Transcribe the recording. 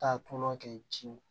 Taa tɔla kɛ jiw